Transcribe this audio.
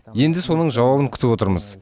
енді соның жауабын күтіп отырмыз